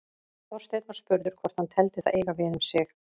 Þorsteinn var spurður hvort hann teldi það eiga við um sig.